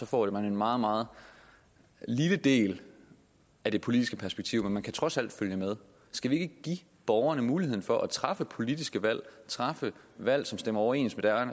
får en meget meget lille del af det politiske perspektiv men man kan trods alt følge med skal vi ikke give borgerne muligheden for at træffe politiske valg træffe valg som stemmer overens med